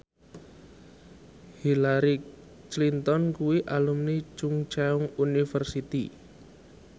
Hillary Clinton kuwi alumni Chungceong University